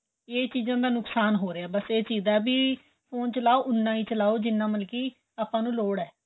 ਏਹ ਚੀਜਾਂ ਦਾ ਨੁਕਸ਼ਾਨ ਹੋ ਰਿਹਾਂ ਬੱਸ ਏਹ ਚੀਜ ਦਾ ਵੀ ਫੋਨ ਚਲਾਹੋ ਉਹਨਾ ਹੀ ਚਲਾਹੋ ਜਿੰਨਾ ਮਤਲਬ ਕਿ ਆਪਾਂ ਨੂੰ ਲੋੜ ਏ